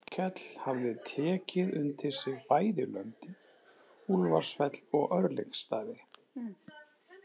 Arnkell hafði tekið undir sig bæði löndin, Úlfarsfell og Örlygsstaði.